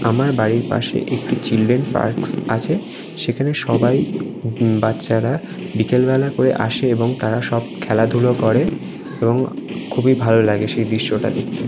আমার বাড়ির পাশে একটি চিলড্রেন পার্কস আছে। সেখানে সবা-ই বাচ্চারা বিকেল বেলা করে আসে এবং তারা সব খেলাধুলা করে এবং খুবই ভালো লাগে সেই দৃশ্যটা দেখতে।